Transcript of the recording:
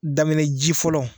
Daminɛ ji fɔlɔ